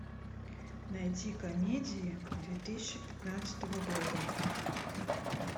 найти комедии две тысячи пятнадцатого года